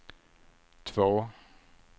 två